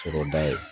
Sɔrɔ da ye